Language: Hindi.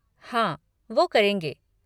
हाँ वो करेंगे।